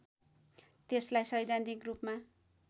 त्यसलाई सैद्धान्तिक रूपमा